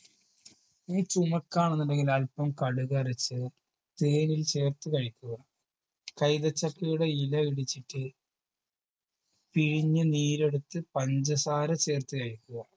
ഇനി ചുമക്കാണെന്നുണ്ടെങ്കിൽ അല്പം കടുക് അരച്ച് തേനിൽ ചേർത്ത് കഴിക്കുക കൈതച്ചക്കയുടെ ഇല ഇടിച്ചിട്ട് പിഴിഞ്ഞ് നീരെടുത്ത് പഞ്ചസാര ചേർത്ത് കയ്ക്കുക